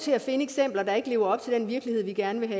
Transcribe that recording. til at finde eksempler der ikke lever op til den virkelighed vi gerne vil